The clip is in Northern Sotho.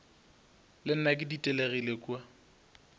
le nna ke ditelegile kua